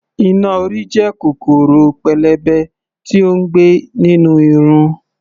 Iná-orí jẹ́ kòkòrò pélébé tí ó ń gbé nínú irun.